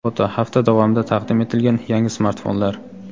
Foto: Hafta davomida taqdim etilgan yangi smartfonlar.